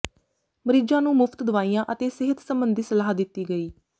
ਮਰੀਜਾਂ ਨੂੰ ਮੁਫਤ ਦਵਾਈਆਂ ਅਤੇ ਸਿਹਤ ਸੰਬੰਧੀ ਸਲਾਹ ਦਿੱਤੀ ਗਈ